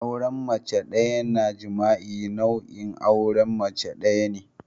auren mace daya na jima'i nau'in auren mace daya ne